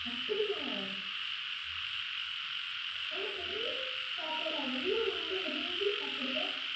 அப்படியா? உனக்கு என்ன சாப்பாடு அவ்ளோ ரொம்ப விரும்பி சாப்பிடுவ?